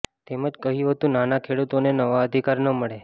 તેમજ કહ્યું હતું નાના ખેડૂતોને નવા અધિકાર ન મળે